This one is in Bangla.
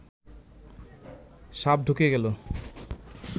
সাপ ঢুকে গেল